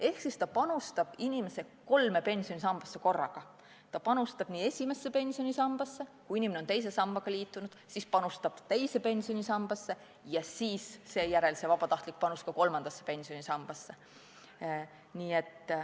Ehk ta panustab inimese kolme pensionisambasse korraga: ta panustab esimesse pensionisambasse; kui inimene on teise sambaga liitunud, siis panustab teise pensionisambasse; ja seejärel on see vabatahtlik panus kolmandasse pensionisambasse.